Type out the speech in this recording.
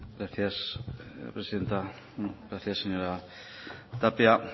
gracias presidenta gracias señora tapia